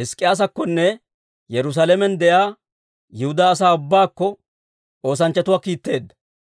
Hizk'k'iyaasakkonne Yerusaalamen de'iyaa Yihudaa asaa ubbaakko, oosanchchatuwaa kiitteedda.